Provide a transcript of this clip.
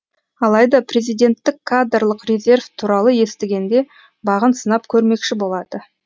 алайда президенттік кадрлық резерв туралы естігенде бағын сынап көрмекші болады